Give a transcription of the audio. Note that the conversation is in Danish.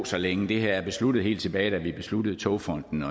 så længe det her er besluttet helt tilbage da vi besluttede togfonden